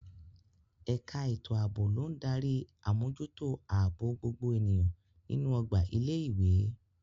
Ẹ̀ka ètò ààbò ló ń darí àmójútó ààbò gbogbo ènìyàn nínú ọgbà ilé ìwé.